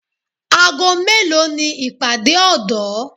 Aago mélòó ni ìpàdé ọ̀dọ́